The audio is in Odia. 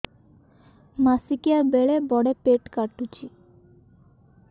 ମାସିକିଆ ବେଳେ ବଡେ ପେଟ କାଟୁଚି